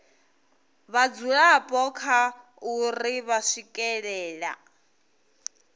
vhadzulapo kha uri vha swikelela